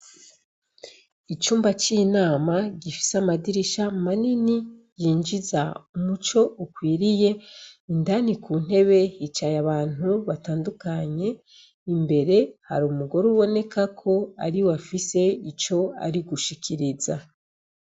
Icumba c'inama gifise amadirisha manini yinjiza umuco ukwiriye indani ku ntebe hicaye abantu batandukanye imbere hari umugore uboneka ko ariwe afise ico ari gushikiriza.